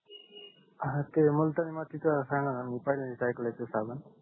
हा त्या मुलतानी मातीचा सांगाणा मी पहिल्यांदा आयकले आहे ते साबण